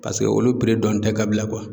Paseke olu dɔni tɛ ka bila